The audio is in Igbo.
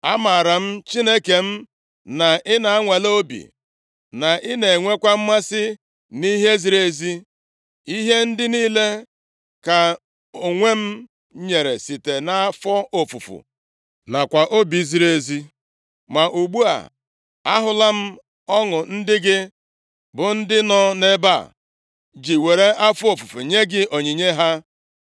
Amaara m, Chineke m, na ị na-anwale obi, na i na-enwekwa mmasị nʼihe ziri ezi. Ihe ndị niile ka m onwe m nyere site nʼafọ ofufu nakwa obi ziri ezi. Ma ugbu a, ahụla m ọṅụ ndị gị, bụ ndị nọ nʼebe a, ji were afọ ofufu nye gị onyinye ha.